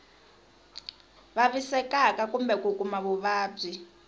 vavisekaka kumbe ku kuma vuvabyi